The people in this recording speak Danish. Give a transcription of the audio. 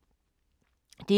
DR2